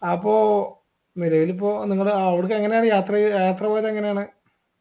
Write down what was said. അപ്പോ ഇനിയിപ്പോ നിങ്ങടെ അവടക്ക് എങ്ങനെയാണ് യാത്രെയ്യ യാത്ര പോയതെങ്ങനെയാണ്